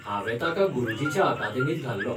हांवें ताका गुरुजीच्या अकादेमींत घाल्लो.